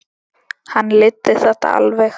Hann leiddi þetta alveg.